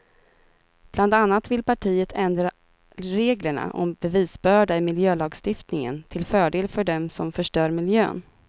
Bland annat vill partiet ändra reglerna om bevisbörda i miljölagstiftningen till fördel för dem som förstör miljön.